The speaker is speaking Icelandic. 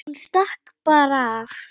Hún stakk bara af.